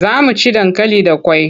Za mu ci dankali da kwai.